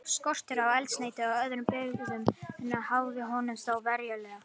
Skortur á eldsneyti og öðrum birgðum háði honum þó verulega.